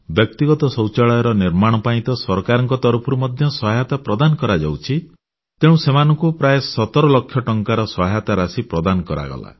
ବ୍ୟକ୍ତିଗତ ଶୌଚାଳୟର ନିର୍ମାଣ ପାଇଁ ତ ସରକାରଙ୍କ ତରଫରୁ ମଧ୍ୟ ସହାୟତା ପ୍ରଦାନ କରାଯାଉଛି ତେଣୁ ସେମାନଙ୍କୁ ପ୍ରାୟ 17 ଲକ୍ଷ ଟଙ୍କାର ସହାୟତା ରାଶି ପ୍ରଦାନ କରାଗଲା